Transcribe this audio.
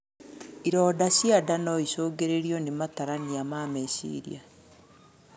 Ironda cia nda noicũngĩrĩrio na matarania ma meciria